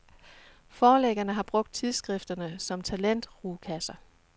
Forlæggerne har brugt tidsskrifterne som talentrugekasser.